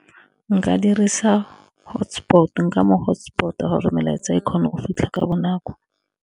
Nka dirisa hotspot, nka mo hotspot-a gore melaetsa e kgone o fitlha ka bonako.